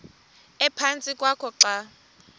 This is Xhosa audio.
ephantsi kwakho xa